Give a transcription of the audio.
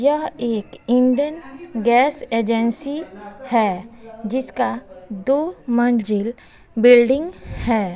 यह एक Indane gas agency है जिसका दो मंजिल बिल्डिंग है।